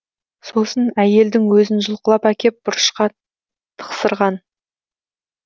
сосын әйелдің өзін жұлқылап әкеп бұрышқа тықсырған